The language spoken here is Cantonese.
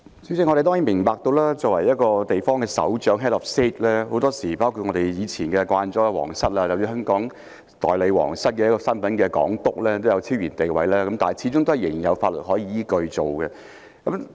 主席，我們當然明白，很多時候，作為一個地方的首長，包括我們從前習慣了的皇室或代表皇室的港督，都有超然地位，但始終仍有法律依據處理有關問題。